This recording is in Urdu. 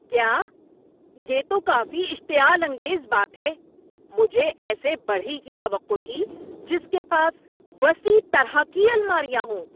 کیا؟ یہ تو کافی اشتعال انگیز بات ہے! مجھے ایسے بڑھئی کی توقع تھی جس کے پاس وسیع طرح کی الماریاں ہوں۔